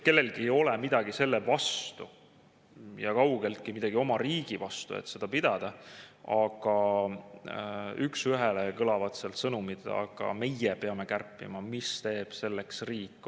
Kellelgi ei ole midagi selle vastu ja kaugeltki midagi oma riigi vastu, et seda pidada, aga üks ühele kõlavad sealt sõnumid: meie peame kärpima, aga mis teeb selleks riik?